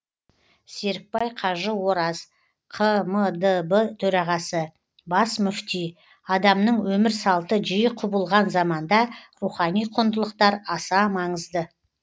серікбай қажы ораз қмдб төрағасы бас мүфти адамның өмір салты жиі құбылған заманда рухани құндылықтар аса маңызды